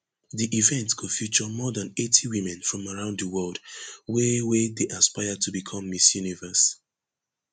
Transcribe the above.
di event go feature more than eighty women from around di world wey wey dey aspire to become miss universe